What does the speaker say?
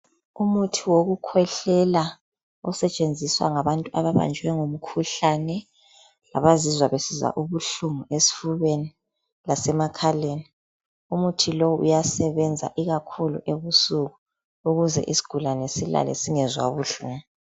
Umuthi wokukhwehlela osetshenziswa ngabantu ababanjwe umkhuhlane abazizwa besizwa ubuhlungu esifubeni lasemakhaleni. Umuthi lowu uyasebenza ikakhulu ebusuku ukuze isigulane silale singezwa buhlungu.